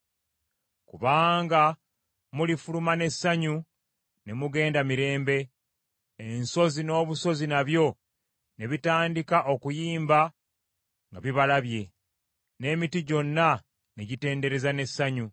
Kubanga mulifuluma n’essanyu ne mugenda mirembe, ensozi n’obusozi nabyo ne bitandika okuyimba nga bibalabye, n’emiti gyonna ne gitendereza n’essanyu.